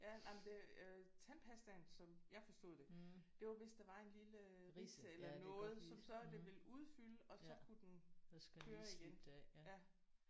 Ja nej men det øh tandpastaen som jeg forstod det det var hvis der var en lille øh ridse eller noget som så det ville udfylde og så kunne den køre igen ja '